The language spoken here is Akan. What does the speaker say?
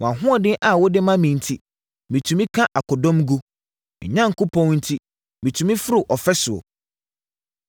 Wʼahoɔden a wode ma me enti, metumi ka akodɔm gu; me Onyankopɔn enti, metumi foro ɔfasuo.